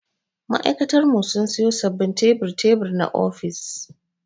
Ma'aikatar mu sun siyo sababbin tebur-tebur na ofis.